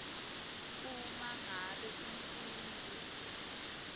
uma ngabe umfundzi